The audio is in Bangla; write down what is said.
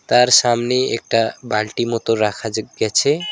তার সামনেই একটা বালটি মতো রাখা যে গেছে।